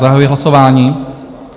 Zahajuji hlasování.